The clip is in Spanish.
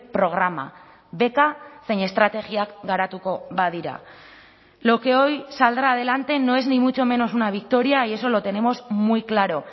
programa beka zein estrategiak garatuko badira lo que hoy saldrá adelante no es ni mucho menos una victoria y eso lo tenemos muy claro